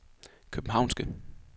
københavnske